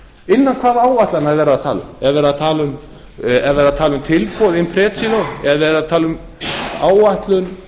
innan hvaða áætlana er verið að tala um er verið að tala um tilboð impregilo eða er verið að tala um